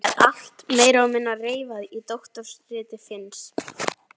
Það er allt meira og minna reifað í doktorsriti Finns.